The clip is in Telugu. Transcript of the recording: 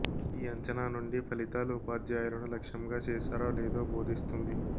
ఈ అంచనా నుండి ఫలితాలు ఉపాధ్యాయులను లక్ష్యంగా చేశారో లేదో బోధిస్తుంది